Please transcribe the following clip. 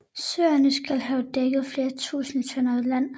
Søerne skal have dækket flere tusinde tønder land